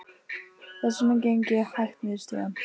Þess vegna geng ég hægt niður stigann.